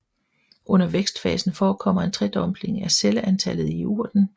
Under vækstfasen forekommer en tredobling af celleantallet i urten